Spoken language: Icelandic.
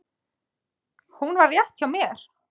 Hún var rétt hjá mér.